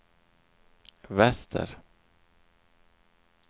väster